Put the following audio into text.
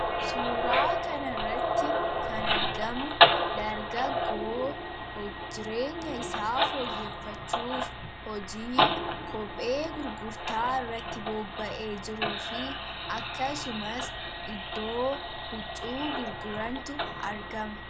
suuraa kan irratti kan argamu darga goo hojireenya isaa ooyyeffachuuf hojii kophee gurgurtaa irratti boobba’ee jiruu fi akkasumas iddoo huccuu gurgurantu argama